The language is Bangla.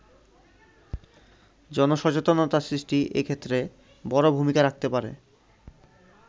জনসচেতনতা সৃষ্টি এক্ষেত্রে বড় ভূমিকা রাখতে পারে।